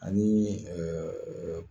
Ani